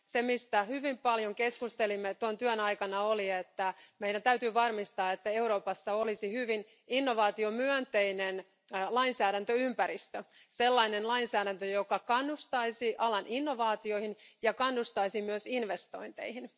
Se, mistä hyvin paljon keskustelimme tuon työn aikana, oli, että meidän täytyy varmistaa, että Euroopassa olisi hyvin innovaatiomyönteinen lainsäädäntöympäristö sellainen lainsäädäntö, joka kannustaisi alan innovaatioihin ja kannustaisi myös investointeihin.